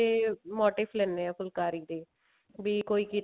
ਤੇ motive ਲੈਣੇ ਹਾਂ ਫੁਲਕਾਰੀ ਦੇ ਵੀ ਕੋਈ